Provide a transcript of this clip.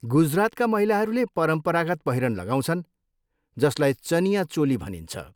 गुजरातका महिलाहरूले परम्परागत पहिरन लगाउँछन् जसलाई चनिया चोली भनिन्छ।